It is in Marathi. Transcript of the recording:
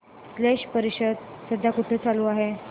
स्लश परिषद सध्या कुठे चालू आहे